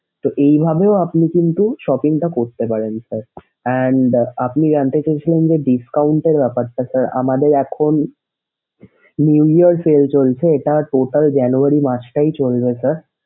তো এইভাবেও আপনি কিন্তু shopping টা করতে পারেন sir and আপনি জানতে চেয়েছিলেন যে discount এর offer টা sir আমাদের এখন new year sale চলছে এটা total January মাসটাই চলবে sir